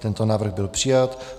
Tento návrh byl přijat.